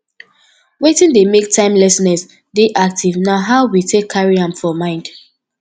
wetin dey make timelessness dey active na how we take carry am for mind